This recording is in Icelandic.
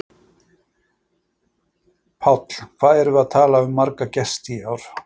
Páll: Hvað erum við að tala um marga gesti í ár?